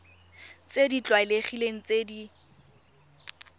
tse di tlwaelegileng tse di